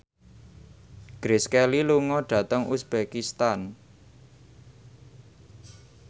Grace Kelly lunga dhateng uzbekistan